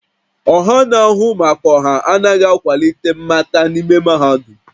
Ọha na-ahụ maka ọha anaghị akwalite mmata n'ime mahadum